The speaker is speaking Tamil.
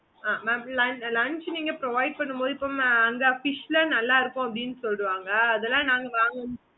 okay mam